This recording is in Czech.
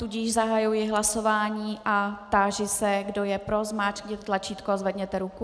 Tudíž zahajuji hlasování a táži se, kdo je pro, zmáčkněte tlačítko a zvedněte ruku.